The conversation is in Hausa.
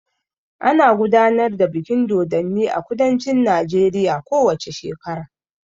Ana gudanar da bikin dodonni a kudancin Najeriya ko wace shekara.